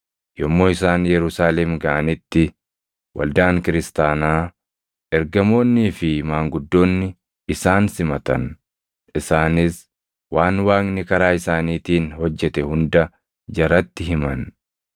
Yommuu isaan Yerusaalem gaʼanitti waldaan kiristaanaa, ergamoonnii fi maanguddoonni isaan simatan; isaanis waan Waaqni karaa isaaniitiin hojjete hunda jaratti himan.